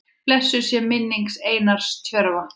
Blessuð sé minning Einars Tjörva.